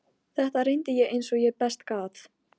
Þetta reyndi ég eins og ég best gat.